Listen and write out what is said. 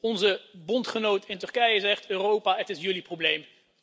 Onze bondgenoot in Turkije zegt Europa, het is jullie probleem.